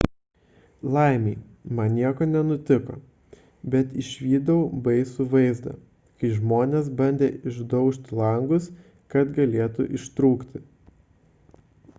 laimei man nieko nenutiko bet išvydau baisų vaizdą kai žmonės bandė išdaužti langus kad galėtų ištrūkti